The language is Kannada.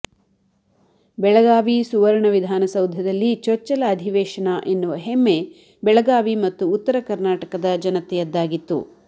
ಬೆಳಗಾವಿ ಸುವರ್ಣ ವಿಧಾನಸೌಧದಲ್ಲಿ ಚೊಚ್ಚಲ ಅಧಿವೇಶನ ಎನ್ನುವ ಹೆಮ್ಮೆ ಬೆಳಗಾವಿ ಮತ್ತು ಉತ್ತರ ಕರ್ನಾಟಕದ ಜನತೆಯದ್ದಾಗಿತ್ತು